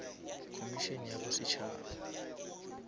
komišene ya bosetšhaba